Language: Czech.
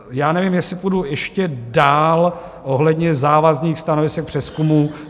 Já nevím, jestli půjdu ještě dál ohledně závazných stanovisek přezkumu.